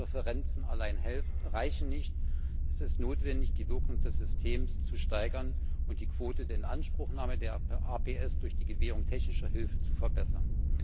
Präferenzen alleine reichen nicht, es ist notwendig, die Wirkung des Systems zu steigern und die Quote der Inanspruchnahme des APS durch die Gewährung technischer Hilfe zu verbessern.